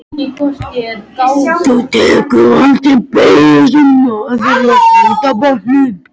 Þú tekur aldrei beygjur eins og maðurinn á hvíta bátnum.